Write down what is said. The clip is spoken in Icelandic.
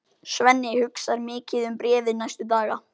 Svenni hugsar mikið um bréfið næstu daga.